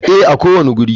Ee, a kowane wuri.